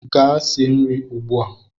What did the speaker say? Gaa sie nri ugbu a!